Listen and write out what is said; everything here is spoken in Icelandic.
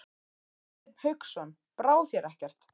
Hafsteinn Hauksson: Brá þér ekkert?